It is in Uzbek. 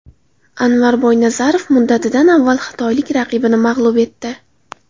Anvar Boynazarov muddatidan avval xitoylik raqibini mag‘lub etdi .